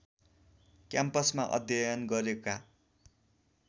क्याम्पसमा अध्ययन गरेका